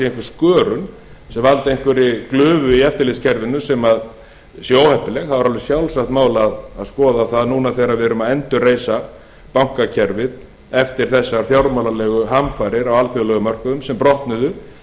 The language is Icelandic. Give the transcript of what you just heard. skörun sem valdi einhverri glufu í eftirlitskerfinu sem sé óheppileg þá er alveg sjálfsagt mál að skoða það núna þegar við erum að endurreisa bankakerfið eftir þessar fjármálalegu hamfarir á alþjóðlegum mörkuðum sem brotnuðu